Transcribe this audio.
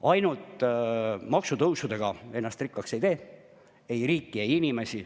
Ainult maksutõusudega ennast rikkaks ei tee – ei riiki ega inimesi.